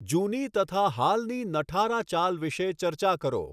જૂની તથા હાલની નઠારા ચાલ વિષે ચર્ચા કરો.